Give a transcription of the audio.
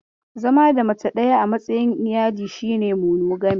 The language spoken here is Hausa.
Zama da mace daya a matsayin iyali shi ne monogamy.